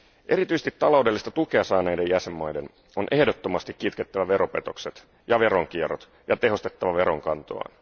Erityisesti taloudellista tukea saaneiden jäsenvaltioiden on ehdottomasti kitkettävä veropetokset ja veronkierrot sekä tehostettava veronkantoaan.